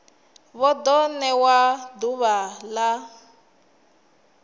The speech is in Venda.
vha ḓo ṋewa ḓuvha ḽa